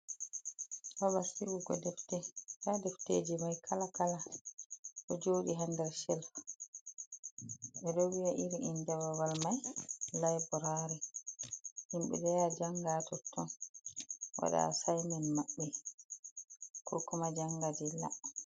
Ha Babal sigugo defte defteji mai kala kala do jodi ha nder shelf.beɗo vi'a irin inde babal mai liberary himbe ɗo yaha janga totton wada assignment maɓɓe ko kuma janga dilla